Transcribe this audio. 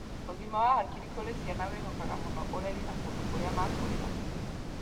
Ũgima wa hakiri kũrĩ ciana wĩhokaga mũno ũreri na kũndũ kũrĩa makũrĩra.